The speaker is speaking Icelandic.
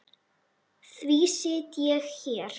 Því sit ég hér.